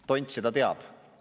Tont seda teab!